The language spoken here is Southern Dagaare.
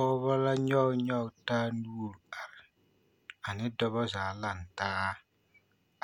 Pɔgeba la nyoŋ nyoŋ taa nuure are ane dɔɔba zaa lantaa